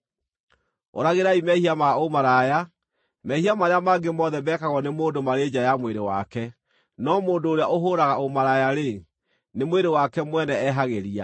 Ũragĩrai mehia ma ũmaraya. Mehia marĩa mangĩ mothe mekagwo nĩ mũndũ marĩ nja ya mwĩrĩ wake, no mũndũ ũrĩa ũhũũraga ũmaraya-rĩ, nĩ mwĩrĩ wake mwene ehagĩria.